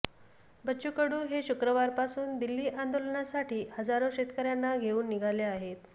बच्चू कडू हे शुक्रवारपासून दिल्ली आंदोलनासाठी हजारो शेतकऱ्यांना घेऊन निघाले आहेत